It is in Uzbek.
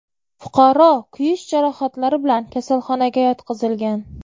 Fuqaro kuyish jarohatlari bilan kasalxonaga yotqizilgan.